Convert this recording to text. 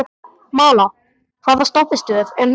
Malla, hvaða stoppistöð er næst mér?